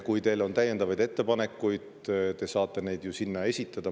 Kui teil on täiendavaid ettepanekuid, siis te saate neid esitada.